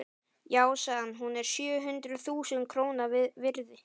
Já, sagði hann, hún er sjö hundruð þúsund króna virði.